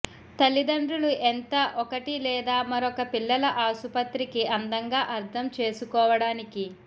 తల్లిదండ్రులు ఎంత ఒకటి లేదా మరొక పిల్లల ఆసుపత్రికి అందంగా అర్థం చేసుకోవడానికి